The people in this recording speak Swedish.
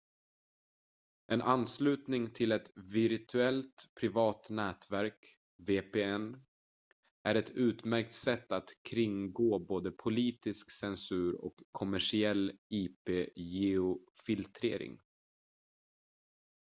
en anslutning till ett virtuellt privat nätverk vpn är ett utmärkt sätt att kringgå både politisk censur och kommersiell ip-geofiltrering